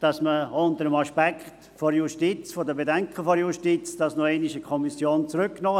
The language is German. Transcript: Wir haben aber auch Verständnis dafür, dass das aufgrund der Bedenken der Justiz noch einmal in die Kommission zurückging.